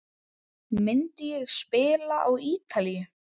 Myndi ég spila á Ítalíu?